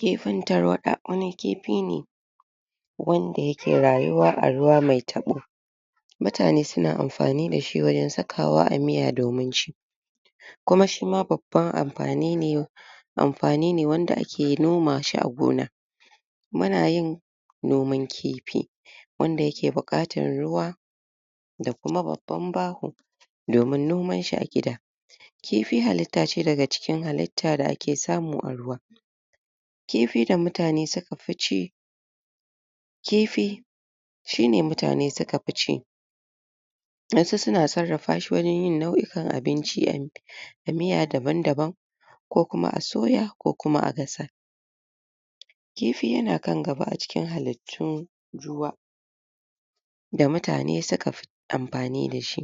kifin tarwaɗa wani kipi ne wanda yake rayuwa a ruwa mai taɓo mutane suna amfani dashi wajen sakawa a miya domin ci kuma shima babban ampani ne ampani ne wanda ake noma shi a gona muna yin noman kipi wanda yake buƙatar ruwa da kuma babban baho domin nomanshi a gida kifi halitta ce daga cikin halitta da ake samu a ruwa kifi da mutane suka fi ci kifi shine mutane suka fi ci wasu suna sarrafa shi wurin yin nau'ikan abinci a mi a miya daban daban ko kuma a soya ko kuma a gasa kifi yana kan gaba a cikin halittun ruwa da mutane suka fi ampani dashi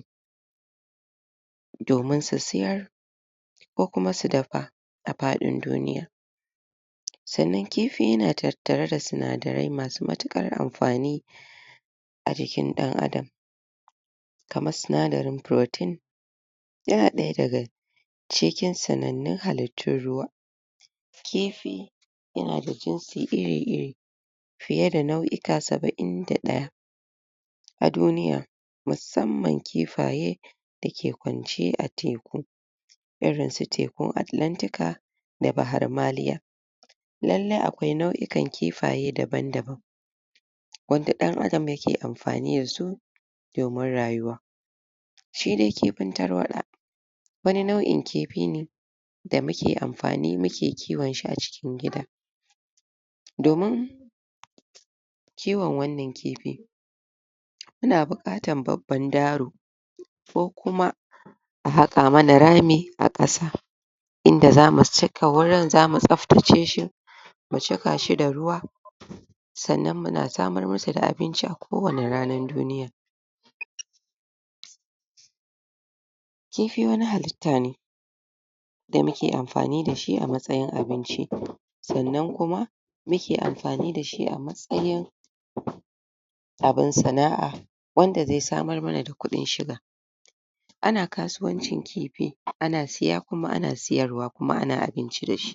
domin su siyar ko kuma su dapa a paɗin duniya sannan kifi yana tattare da sinadarai masu matuƙar amfani a jikin ɗan adam kamar sinadarin purotin yana ɗaya daga cikin sanannun halittun ruwa kifi yana da jinsi iri iri fiye da nau'ika saba'in da ɗaya a duniya musamman kifaye dake kwance a teku irin su tekun atilantika da baharmaliya lallai akwai nau'ikan kifaye daban daban wadda ɗan adam yake amfani dasu domin rayuwa shi de kipin tarwaɗa wani nau'in kipi ne da muke amfani muke kiwon shi a cikin gida domin kiwon wannan kipi yana buƙatan babban daro ko kuma a haƙa mana rami a ƙasa inda zamu cika wurin zamu tsaftace shi mu cika shi da ruwa sannan muna samar musu da abinci a kowani ranan duniya?? kifi wani haliita ne da muke amfani dashi a matsayin abinci sannan kuma muke amfani dashi a matsayin? abin sana'a wanda zai samar mana da kuɗin shiga ana kasuwancin kipi ana siya kuma ana siyarwa kuma ana abinci dashi